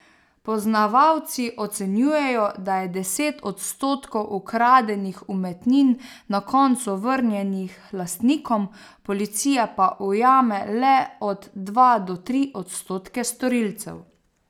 Poznavalci ocenjujejo, da je deset odstotkov ukradenih umetnin na koncu vrnjenih lastnikom, policija pa ujame le od dva do tri odstotke storilcev.